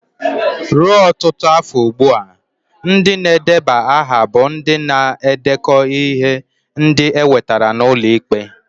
Ruo ọtụtụ iri afọ ugbu a, ndị na-edeba aha bụ ndị na-edekọ ihe ndị e wetara n'ụlọ ikpe.